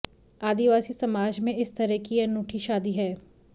आदिवासी समाज में इस तरह की ये अनूठी शादी है